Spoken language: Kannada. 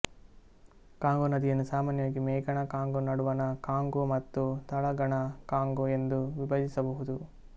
ಕಾಂಗೋ ನದಿಯನ್ನು ಸಾಮಾನ್ಯವಾಗಿ ಮೇಗಣ ಕಾಂಗೋ ನಡುವಣ ಕಾಂಗೋ ಮತ್ತು ತಳಗಣ ಕಾಂಗೋ ಎಂದು ವಿಭಜಿಸಬಹುದು